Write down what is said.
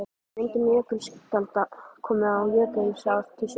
Með myndun jökulskjalda komu og jökulár til sögunnar.